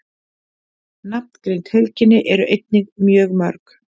Nafngreind heilkenni eru einnig mjög mörg.